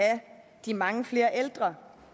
de mange flere ældre